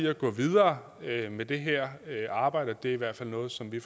at gå videre med det her arbejde det er i hvert fald noget som vi